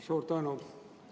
Suur tänu!